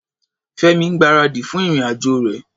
Fẹ́mi ń gbáradì fún ìrìn-àjò rẹ̀.